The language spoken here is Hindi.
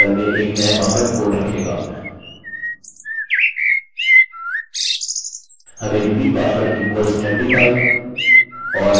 अब हम आगे जाएँगे और अपने डेटाबेस में सभी डेटा को जोड़ देंगे